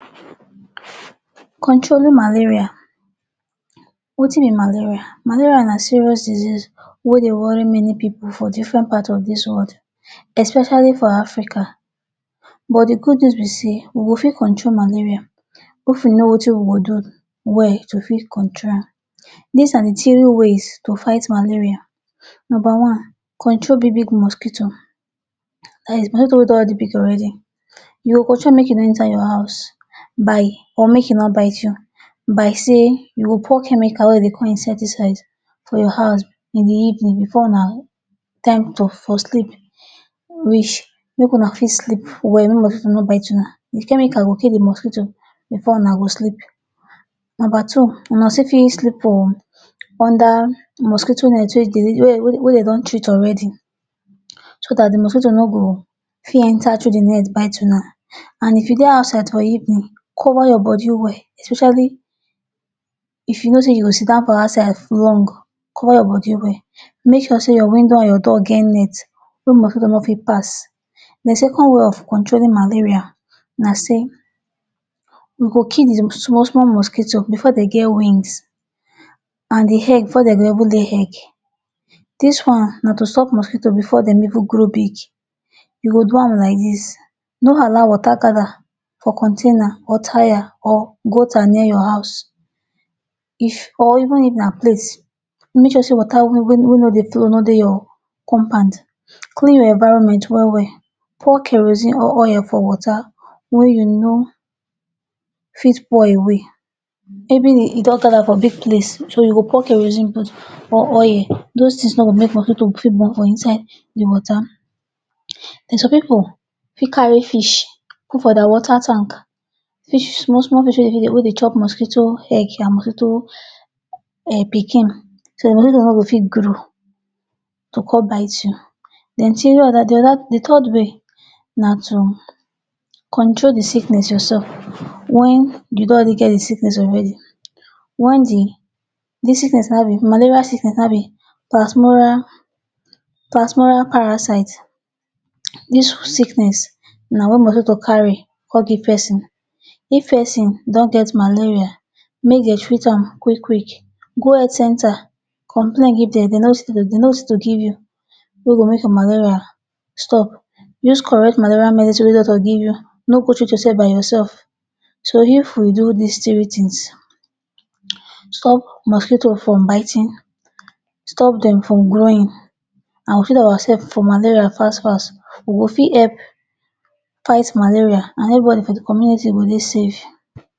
Controlling Malaria. Wetin be malaria? Malaria na serious disease wey dey worry many pipu for different part of dis world, especially for Africa. But the good news be sey we go fit control malaria if we know wetin we go do well to fit control am. Dis are the three ways to fight malaria: Nomba one, control big-big mosquito. dat is mosquito wey don already big already, you go control am make e no enter your house by or make e no bite you by sey you go pour chemical wey de dey call insecticide for your house in the evening before una time to for sleep reach make una fit sleep well make mosquito no bite una. The chemical go kill the mosquito before una go sleep. Nomba two, una still fit sleep for under mosquito net wey dey wey de don treat already so dat the mosquito no go fit enter through the net bite una. An if you dey outside for evening, cover your body well especially if you know sey you go sit down for outside long, cover your body well. Make sure sey your window an your door get net wey mosquito no fit pass. The second way of controlling Malaria na sey we go kill the small-small mosquito before de get wings, an the egg before de go even lay egg. Dis one na to stop mosquito before dem even grow big. You go do am like dis: no allow water gather for container or tyre or gutter near your house. If or even if na plate, make sure sey water wey no dey no dey your compound. Clean your environment well-well, pour kerosene or oil for water wey you no fit pour away. Even e don gather for big place, so you go pour kerosene put or oil. Dos tins no go make mosquito fit born for inside the water. Then some pipu fit carry fish put for dia water tank fish small small fish wey dey chop mosquito egg an mosquito um pikin. So mosquito no go fit grow to come bite you. Then the third way na to control the sickness yoursef. Wen you don already get the sickness already, wen the the sickness have a malaria sickness have a pasmolar pasmolar parasite. Dis sickness na wey mosquito carry con give pesin. If pesin don get malaria, make de treat am quick-quick. Go health centre, complain give dem the nurse to give you wey go make the malaria stop. Use correct malaria medicine wey doctor give you. No go treat yoursef by yoursef. So, if we do dis three tins: stop mosquito from biting, stop dem from growing, an we treat ourselves for malaria fast-fast, we go fit help fight malaria, an everybody for the community go dey safe.